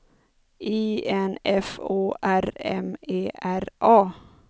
I N F O R M E R A